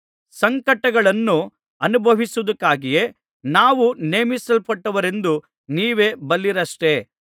ಸಂಕಟಗಳನ್ನು ಅನುಭವಿಸುವುದಕ್ಕಾಗಿಯೇ ನಾವು ನೇಮಿಸಲ್ಪಟ್ಟವರೆಂದು ನೀವೇ ಬಲ್ಲಿರಷ್ಟೆ